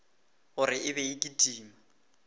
gore e be e kitima